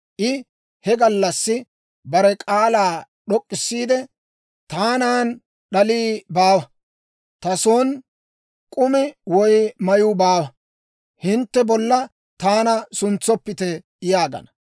I he gallassi bare k'aalaa d'ok'k'issiide, «Taanan d'alii baawa; ta son k'umi woy mayuu baawa; hintte bolla taana suntsoppite» yaagana.